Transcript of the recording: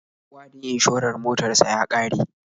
Wa'adin inshorar motar sa ya ƙare.